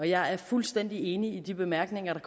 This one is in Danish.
jeg er fuldstændig enig i de bemærkninger der